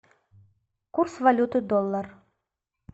курс валюты доллар